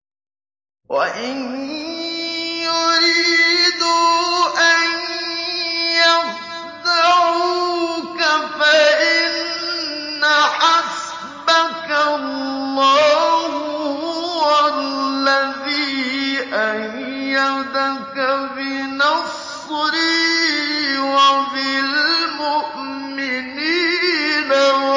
وَإِن يُرِيدُوا أَن يَخْدَعُوكَ فَإِنَّ حَسْبَكَ اللَّهُ ۚ هُوَ الَّذِي أَيَّدَكَ بِنَصْرِهِ وَبِالْمُؤْمِنِينَ